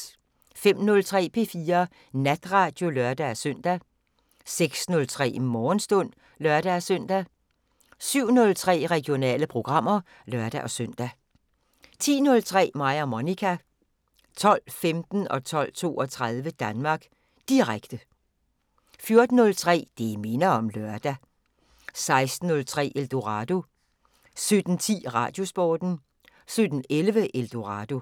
05:03: P4 Natradio (lør-søn) 06:03: Morgenstund (lør-søn) 07:03: Regionale programmer (lør-søn) 10:03: Mig og Monica 12:15: Danmark Direkte 12:32: Danmark Direkte 14:03: Det minder om lørdag 16:03: Eldorado 17:10: Radiosporten 17:11: Eldorado